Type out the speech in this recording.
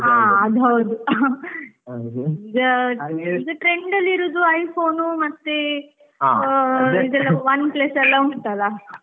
ಹಾ, ಅದ್ ಹೌದು . ಈಗ trend ಅಲ್ಲಿ ಇರೋದು iPhone ಮತ್ತೆ Oneplus ಎಲ್ಲ ಉಂಟ್ ಅಲ.